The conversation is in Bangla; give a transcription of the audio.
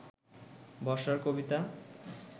বর্ষার কবিতা